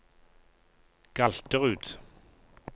Galterud